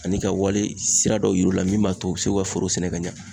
Ani ka wale sira dɔ yir'u la min b'a to u be se k'u ka foro sɛnɛ ka ɲa